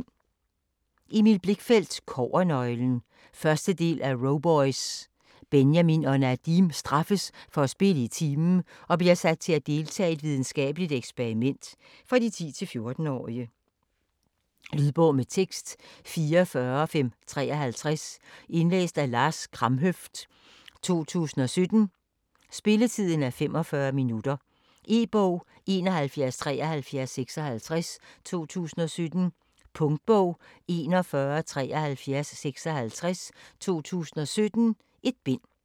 Blichfeldt, Emil: Kobbernøglen 1. del af Roboys. Benjamin og Nadim straffes for at spille i timen, og bliver sat til at deltage i et videnskabeligt eksperiment. For 10-14 år. Lydbog med tekst 44553 Indlæst af Lars Kramhøft, 2017. Spilletid: 0 timer, 45 minutter. E-bog 717356 2017. Punktbog 417356 2017. 1 bind.